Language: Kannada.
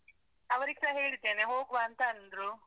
ಅವ್ರಿಗ್ಸ ಹೇಳಿದ್ದೇನೆ, ಹೋಗ್ವ ಅಂತ ಅಂದ್ರು